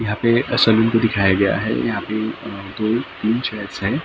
यहाँ पे सलून को दिखाया गया है यहाँ पे अ दोतीन चेयर्स हैं एक अ टेबल --